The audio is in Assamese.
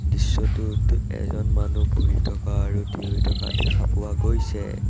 দৃশ্যটোত এজন মানুহ বহি থকা আৰু থিয়হি থকা দেখা পোৱা গৈছে।